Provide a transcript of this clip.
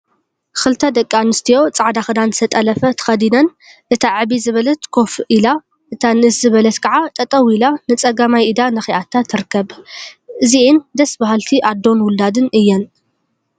ክልተ ደቂ ኣንስትዮ ጻዕዳ ክዳን ዝተጠለፈ ተከዲነን እታ ዕብይ ዝበለት ኮፍ ኣኢላ እታ ንእስ ዝበለት ከዓ ጠጠው ኢላ ንጸጋማይ ኢዳ ነኪኣታ ትርከብ። እዚኣን ደስ በሃልቲ ኣዶን ዉላድን እየን።